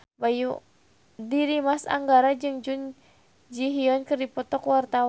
Dimas Anggara jeung Jun Ji Hyun keur dipoto ku wartawan